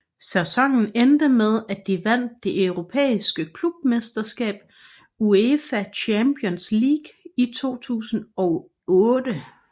Sæsonen endte med at de vandt det europæiske klubmesterskab UEFA Champions League 2008